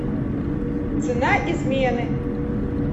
цена измены